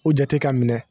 U jate ka minɛ